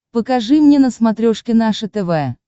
покажи мне на смотрешке наше тв